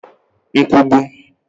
nkwugbu